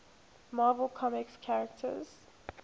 marvel comics characters